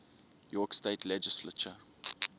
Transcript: york state legislature